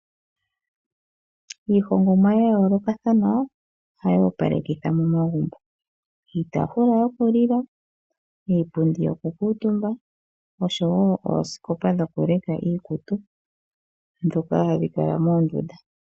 Iihongomwa ya yoolokathana ohayi opalekitha momagumbo, iitafula yokulila, iipundi yokukuutumba noshowo oosikopa dhokuleka iikutu, dhoka hadhi kala moondunda.